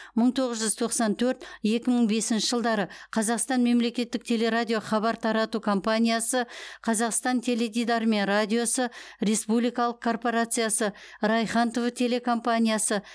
мың тоғыз жүз тоқсан төрт екі мың бесінші жылдары қазақстан мемлекеттік телерадио хабар тарату компаниясы қазақстан теледидары мен радиосы республикалық корпорациясы райхан тв телекомпаниясы